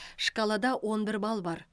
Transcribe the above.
шкалада он бір балл бар